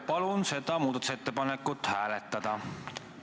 Palun seda muudatusettepanekut hääletada!